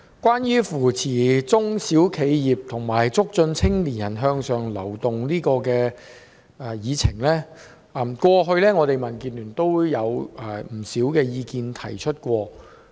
關於扶持中小企業及促進青年人向上流動的議題，民建聯在過去曾經提出不少意見。